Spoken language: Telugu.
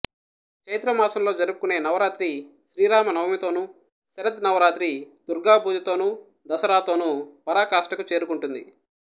చైత్ర మాసంలో జరుపుకునే నవరాత్రి శ్రీ రామ నవమితోనూ శరద్ నవరాత్రి దుర్గా పూజతోనూ దసరాతోనూ పరాకాష్ఠకు చేరుకుంటుంది